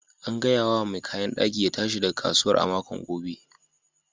An gaya wa mai kayan daki ya tashi daga kasuwar a makon gobe.